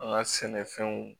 An ka sɛnɛfɛnw